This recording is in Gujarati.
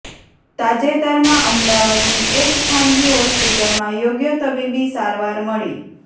તાજેતરમાં અમદાવાદની એક ખાનગી હોસ્પિટલમાં યોગ્ય તબીબી સારવાર મળી